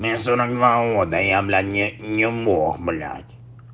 мне сорок два года я блядь не не мог блядь